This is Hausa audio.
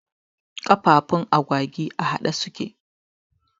Kafafun agwagi a haɗe suke